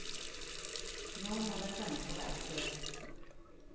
Nå må den sendes på verksted.